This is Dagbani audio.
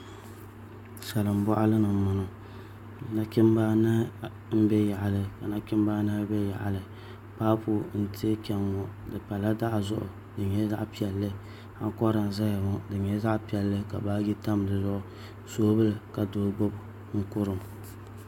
Salin boɣali ni n boŋo nachimbi anahi n bɛ yaɣali ka nachimbi anahi bɛ yaɣali paapu n tiɛ chɛŋ ŋo di pala daɣu zuɣu di nyɛla zaɣ piɛlli ankora n ʒɛya ŋo di nyɛla zaɣ piɛlli ka baaji tam dizuɣu soobuli ka doo gbubi n kurim